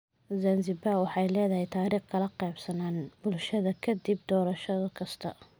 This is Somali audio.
Zanzibar waxay leedahay taariikh kala qaybsanaan bulshadeeda ka dib doorasho kasta.